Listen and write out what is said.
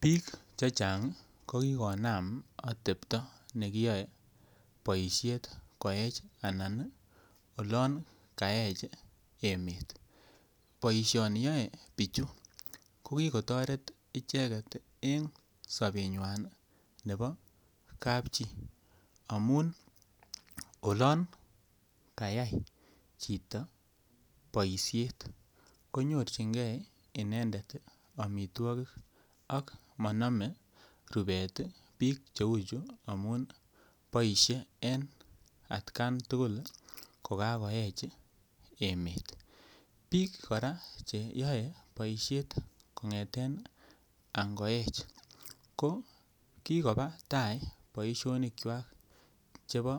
Biik chechang ii ko kikonam otepto nekiyoe boishet koech anan ii olon kaech emet. Boisioni yoe bichu ko kigotoret icheget en sobenywan nebo kapchi amun olon kayay chito boishet konyorjigee inendet omitwokik ak monome rubet ii biik che uu chu amun boishet en atkan tugul ko kakoech emet. Biik koraa che yoe boishet kongeten ango ech ko kikoba taa boisionikwak chebo